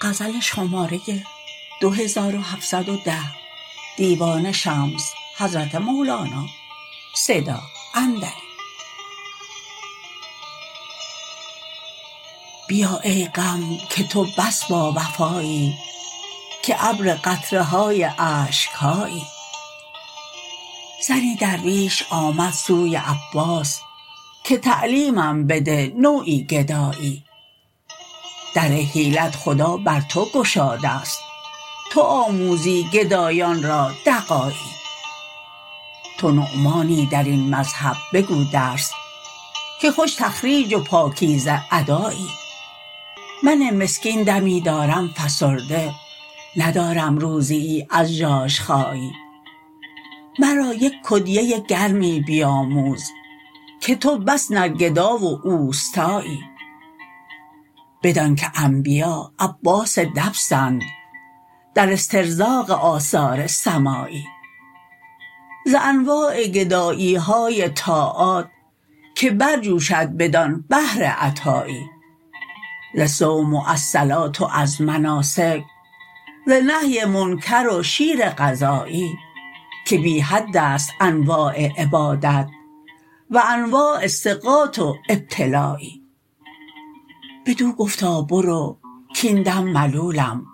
بیا ای غم که تو بس باوفایی که ابر قطره های اشک هایی زنی درویش آمد سوی عباس که تعلیمم بده نوعی گدایی در حیلت خدا بر تو گشاده ست تو آموزی گدایان را دغایی تو نعمانی در این مذهب بگو درس که خوش تخریج و پاکیزه ادایی من مسکین دمی دارم فسرده ندارم روزیی از ژاژخایی مرا یک کدیه گرمی بیاموز که تو بس نرگدا و اوستایی بدانک انبیا عباس دینند در استرزاق آثار سمایی ز انواع گدایی های طاعات که برجوشد بدان بحر عطایی ز صوم و از صلات و از مناسک ز نهی منکر و شیر غزایی که بی حد است انواع عبادات و انواع ثقات و ابتلایی بدو گفتا برو کاین دم ملولم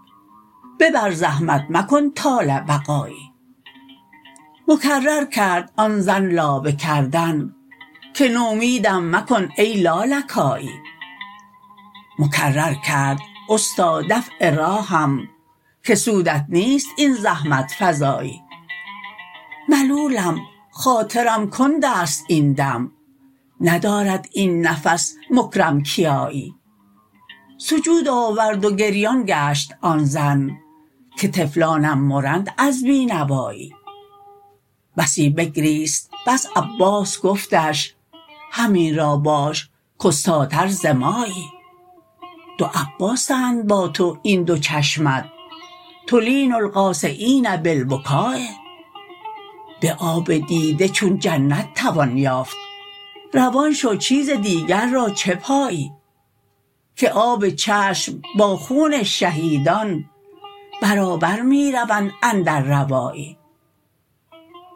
ببر زحمت مکن طال بقایی مکرر کرد آن زن لابه کردن که نومیدم مکن ای لالکایی مکرر کرد استا دفع راهم که سودت نیست این زحمت فزایی ملولم خاطرم کند است این دم ندارد این نفس مکرم کیایی سجود آورد و گریان گشت آن زن که طفلانم مرند از بی نوایی بسی بگریست پس عباس گفتش همین را باش کاستاتر ز مایی دو عباسند با تو این دو چشمت تلین القاسیین بالبکا به آب دیده چون جنت توان یافت روان شو چیز دیگر را چه پایی که آب چشم با خون شهیدان برابر می روند اندر روایی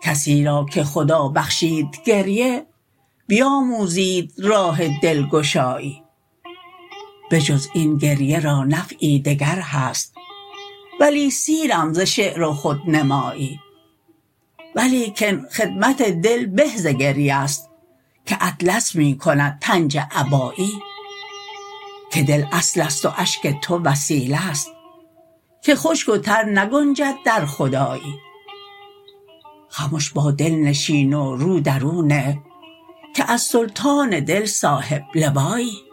کسی را که خدا بخشید گریه بیاموزید راه دلگشایی بجز این گریه را نفعی دگر هست ولی سیرم ز شعر و خودنمایی ولیکن خدمت دل به ز گریه ست که اطلس می کند پنجه عبایی که دل اصل است و اشک تو وسیلت که خشک و تر نگنجد در خدایی خمش با دل نشین و رو در او نه که از سلطان دل صاحب لوایی